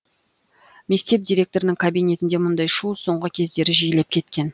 мектеп директорының кабинетінде мұндай шу соңғы кездері жиілеп кеткен